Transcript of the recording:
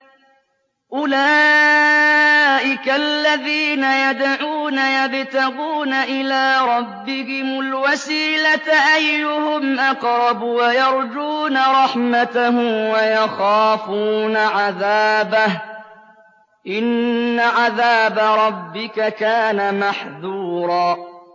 أُولَٰئِكَ الَّذِينَ يَدْعُونَ يَبْتَغُونَ إِلَىٰ رَبِّهِمُ الْوَسِيلَةَ أَيُّهُمْ أَقْرَبُ وَيَرْجُونَ رَحْمَتَهُ وَيَخَافُونَ عَذَابَهُ ۚ إِنَّ عَذَابَ رَبِّكَ كَانَ مَحْذُورًا